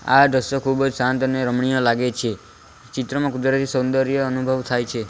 આ દ્રશ્ય ખૂબ શાંત અને રમણીય લાગે છે ચિત્રમાં કુદરતી સૌંદર્ય અનુભવ થાય છે.